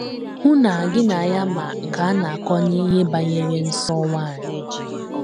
Hụ na gị na ya ma nke a na - akọ n’ihe banyere nsọ nwanyị.